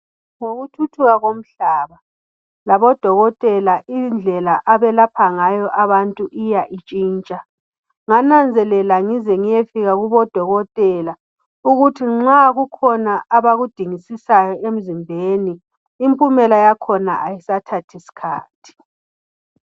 Ngokuthuthuka komhlaba labodokotela indlela abelalapha ngayo abantu iya intshitsha ngananzelela ngize ngiyefika kubodokotela ukuthi nxa kukhona abakudingisisayo emzimbeni impumela yakhona ayisathathi sikhathi.